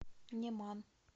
неман